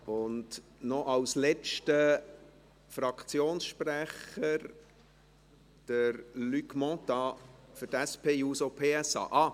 Als letzter Fraktionssprecher, Luc Mentha für die SP-JUSO-PSA.